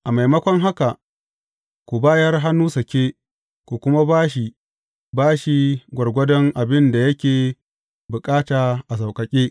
A maimakon haka ku bayar hannu sake, ku kuma ba shi bashi gwargwadon abin da yake bukata a sauƙaƙe.